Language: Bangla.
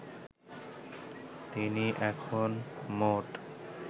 তিনি এখন মোট